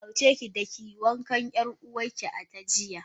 Ya umarce ki da kiyi wankan yar uwarki a daren jiya.